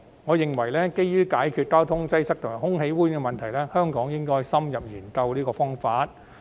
我認為基於解決交通擠塞及空氣污染問題，香港應該深入研究這個方法。